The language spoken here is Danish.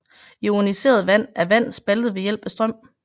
Ioniseret vand er vand spaltet ved hjælp af strøm